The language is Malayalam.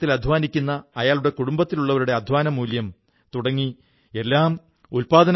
സാഹിത്യരചനകൾക്കൊപ്പം മറ്റു തരത്തിലുള്ള പുസ്തകങ്ങളും സൌജന്യമായി ലഭ്യമാക്കുന്നു എന്നത് നവീന പദ്ധതിയാണ്